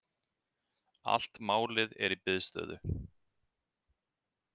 Allt málið er í biðstöðu.